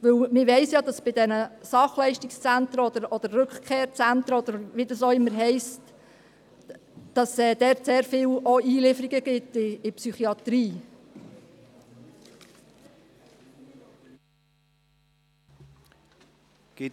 Man weiss ja, dass es in diesen Sachleistungszentren oder Rückkehrzentren, oder wie sie auch immer heissen, viele Einlieferungen in die Psychiatrie gibt.